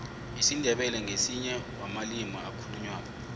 isindebele ngesinye womalimu akhulu nywako